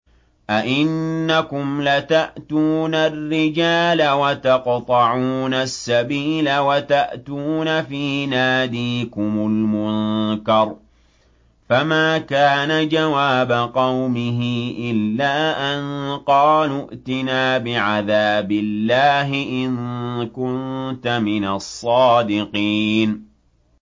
أَئِنَّكُمْ لَتَأْتُونَ الرِّجَالَ وَتَقْطَعُونَ السَّبِيلَ وَتَأْتُونَ فِي نَادِيكُمُ الْمُنكَرَ ۖ فَمَا كَانَ جَوَابَ قَوْمِهِ إِلَّا أَن قَالُوا ائْتِنَا بِعَذَابِ اللَّهِ إِن كُنتَ مِنَ الصَّادِقِينَ